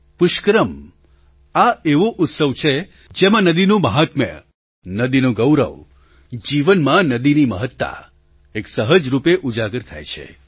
પુષ્કરમ આ એવો ઉત્સવ છે જેમાં નદીનું મહાત્મય નદીનું ગૌરવ જીવનમાં નદીની મહત્તા એક સહજ રૂપે ઉજાગર થાય છે